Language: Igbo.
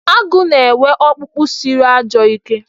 Agụ na-enwe ọkpụkpụ siri ajọ ike.